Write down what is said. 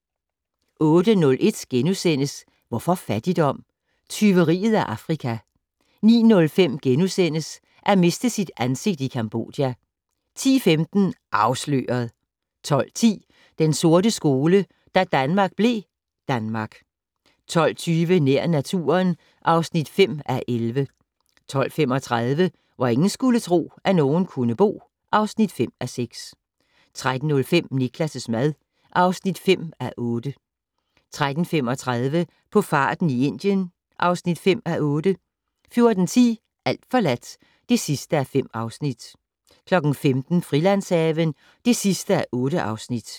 08:01: Hvorfor fattigdom? - Tyveriet af Afrika * 09:05: At miste sit ansigt i Cambodja * 10:15: Afsløret! 12:10: Den sorte skole: Da Danmark blev Danmark 12:20: Nær naturen (5:11) 12:35: Hvor ingen skulle tro, at nogen kunne bo (5:6) 13:05: Niklas' mad (5:8) 13:35: På farten i Indien (5:8) 14:10: Alt forladt (5:5) 15:00: Frilandshaven (8:8)